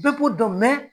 Bɛɛ b'u dɔn mɛ